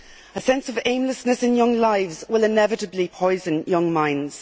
A sense of aimlessness in young lives will inevitably poison young minds.